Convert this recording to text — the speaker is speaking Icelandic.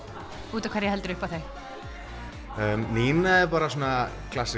út af hverju heldurðu upp á þau Nína er bara svona